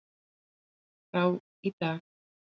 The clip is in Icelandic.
frá í dag.